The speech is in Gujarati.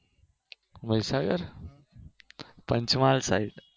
મહીસાગર પંચમહાલ side